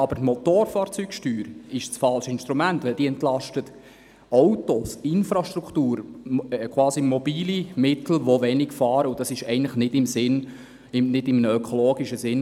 Doch ist die Motorfahrzeugsteuer das falsche Instrument, denn diese entlastet Autos, Infrastruktur, quasi mobile Mittel, die wenig fahren, und das ist eigentlich nicht in einem ökologischen Sinn.